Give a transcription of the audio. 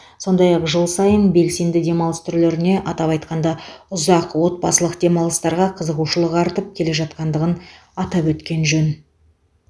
сондай ақ жыл сайын белсенді демалыс түрлеріне атап айтқанда ұзақ отбасылық демалыстарға қызығушылық артып келе жатқандығын атап өткен жөн